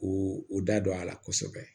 K'u u da don a la kosɛbɛ